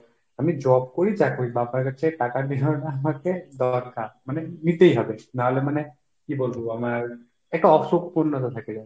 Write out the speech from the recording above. আমি job করি যা করি বাবার কাছে টাকা নেওয়াটা আমাকে দরকার। মানে নিতেই হবে, না হলে মানে কী বলবো আমার একটা অসম্পূর্ণতা থেকে যায়।